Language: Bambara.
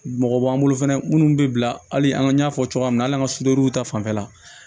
Mɔgɔ b'an bolo fɛnɛ minnu bɛ bila hali an y'a fɔ cogoya min na hali n'an ka ta fanfɛla